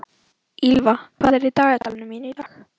Ýlfa, hvað er í dagatalinu mínu í dag?